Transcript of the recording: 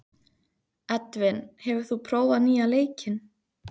Edvin, hefur þú prófað nýja leikinn?